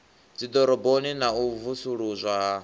dziḓoroboni na u vusuludzwa ha